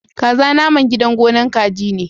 Kaza naman gidan gonar kaji ne.